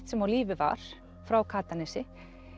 sem á lífi var frá Katanesi